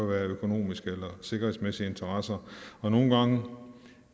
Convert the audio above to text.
være økonomiske eller sikkerhedsmæssige interesser nogle gange